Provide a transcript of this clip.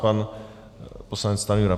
Pan poslanec Stanjura.